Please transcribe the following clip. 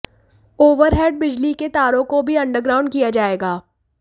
overhead बिजली के तारों को भी अंडरग्राउंड किया जाएगा